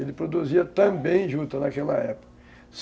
Ele produzia também juta naquela época.